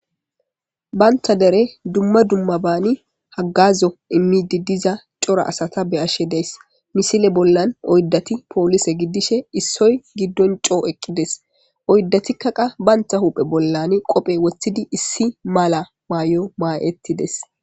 Bantta deren dumma dummabani haggazo immidi diiza cora asata be'ashe daysi Missile bollan oydati poolice giddishe issoy giidon coo eqqides oyddatika qa bantta huphphe bolla qoppe woththidi issi mala maayo mayidetes.